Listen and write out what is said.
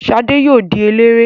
Ṣadé yóò di eléré.